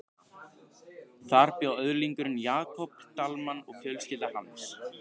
Þar bjó öðlingurinn Jakob Dalmann og fjölskylda hans.